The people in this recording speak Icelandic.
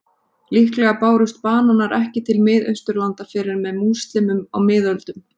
Líklega bárust bananar ekki til Miðausturlanda fyrr en með múslímum á miðöldum.